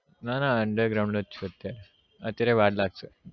ના ના underground જ છુ અત્યારે અત્યારે વાર લાગશે